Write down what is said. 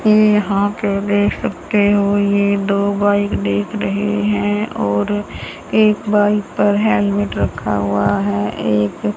ये यहां अकेले सब के हो ये दो बाइक देख रहे हैं और एक बाईक पर हेलमेट रखा हुआ है एक--